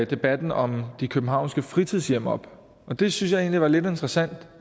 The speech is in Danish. debatten om de københavnske fritidshjem op og det synes jeg egentlig var lidt interessant